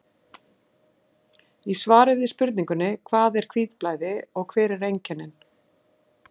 Í svari við spurningunni Hvað er hvítblæði og hver eru einkennin?